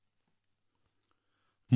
আপোনালোকে নতুন অভিজ্ঞতা লাভ কৰিব